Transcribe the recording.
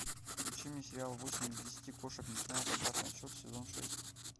включи мне сериал восемь из десяти кошек начинают обратный отсчет сезон шесть